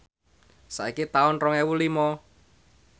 saiki taun rong ewu lima